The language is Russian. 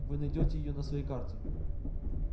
вы найдёте её на своей карте